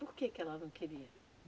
Por que que ela não queria?